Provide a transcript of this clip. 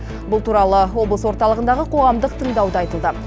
бұл туралы облыс орталығындағы қоғамдық тыңдауда айтылды